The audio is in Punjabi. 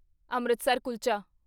ਅੰਮ੍ਰਿਤਸਰ ਕੁਲਚਾ